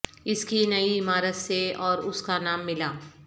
اس کی نئی عمارت سے اور اس کا نام ملا